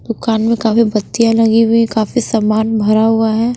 दुकान में काफी बत्तियां लगी हुई काफी सामान भरा हुआ है।